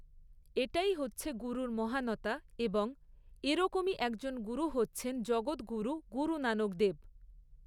এটাই হচ্ছে গুরুর মহানতা এবং এরকমই একজন গুরু হচ্ছেন জগৎগুরু গুরু নানক দেব।